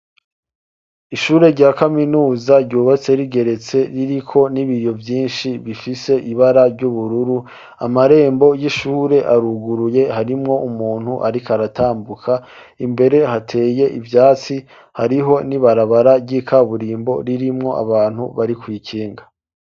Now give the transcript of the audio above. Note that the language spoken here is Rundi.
Ishure rya kaminuza ryubatse rigeretse riri ko n'ibiriyo vyinshi bifise ibara ry'ubururu amarembo y'ishure aruguruye harimwo umuntu ariko aratambuka imbere hateye ivyatsi hariho n'ibarabara ry'ikaburimbo ririmwo abantu bari kwikinga.